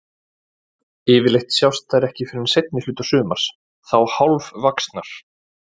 Yfirleitt sjást þær ekki fyrr en seinni hluta sumars, þá hálfvaxnar.